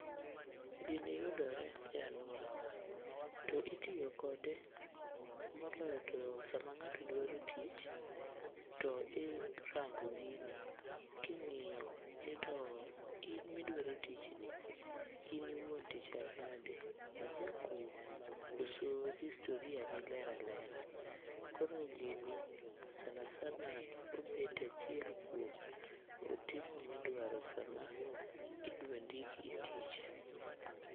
Gini yudore e alwora wa, to itiyo kode moloyo to sama ng'ato dwaro tich. To irango gini king'iyo ni to in midwaro tich ni, in iwuon to ichal nade? Ijakuo koso historia ni ler alera? Koro gini sana sana obet achiel kuom otiko midwaro sama idwa ndiki e tich.